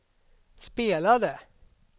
spelade